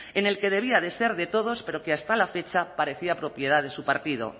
en el que debía de ser de todos pero que hasta la fecha parecía propiedad de su partido